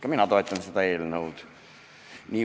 Ka mina toetan seda eelnõu nii või teisiti.